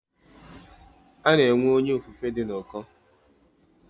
Ana enwe Onye ofufe di n'uko.